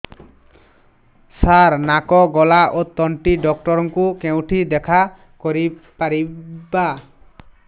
ସାର ନାକ ଗଳା ଓ ତଣ୍ଟି ଡକ୍ଟର ଙ୍କୁ କେଉଁଠି ଦେଖା କରିପାରିବା